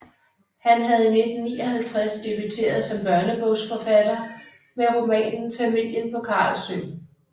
Han havde i 1959 debuteret som børnebogsforfatter med romanen Familien på Carlsø